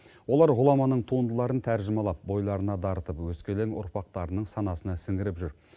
олар ғұламаның туындыларын тәржімалап бойларына дарытып өскелең ұрпақтарының санасына сіңіріп жүр